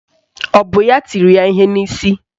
Ọ bụ ya tiri ya ihe n'isi?